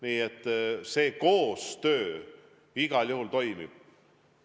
Nii et koostöö igal juhul toimib.